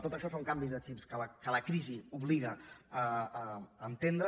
tot això són canvis de xips que la crisi obliga a entendre